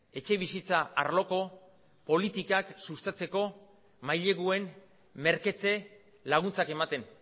etxebizitza arloko politikak sustatzeko maileguen merketze laguntzak ematen